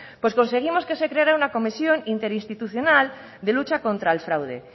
pues conseguimos que se creara una comisión interinstitucional de lucha contra el fraude